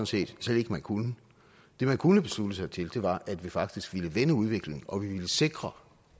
set slet ikke man kunne det man kunne beslutte sig til var at vi faktisk ville vende udviklingen og at vi ville sikre